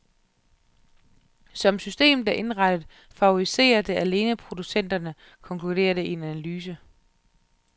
Som systemet er indrettet, favoriserer det alene producenterne, konkluderes det i en analyse.